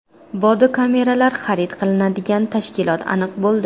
Bodi-kameralar xarid qilinadigan tashkilot aniq bo‘ldi.